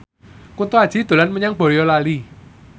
Kunto Aji dolan menyang Boyolali